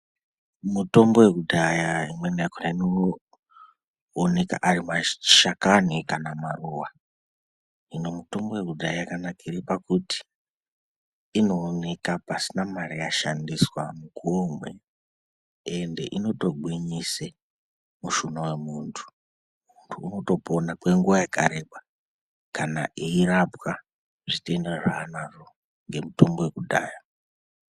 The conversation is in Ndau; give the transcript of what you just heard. Mitombo yekudhaya imweni yakona inoonekwa ari mashakani kana maruwa ,hino mitombo yekudhaya yakankire pakuti inooneka pasina mari yashandiswa mukuwo umweni ende inotogwinyise mushuna wemuntu, muntu unotopona kwenguwa yakareba kana eirapwa zvitenda zvaanazvo ngemutombo wekudhaya.